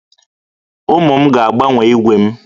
Ụmụ m ga-agbanwe ígwè m